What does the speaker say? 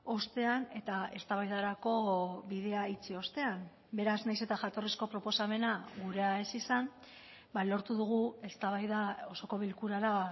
ostean eta eztabaidarako bidea itxi ostean beraz nahiz eta jatorrizko proposamena gurea ez izan lortu dugu eztabaida osoko bilkurara